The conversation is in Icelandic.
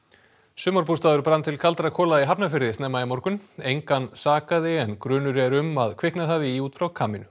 sumarbústaður brann til kaldra kola í Hafnarfirði snemma í morgun engan sakaði en grunur er um að kviknað hafi í út frá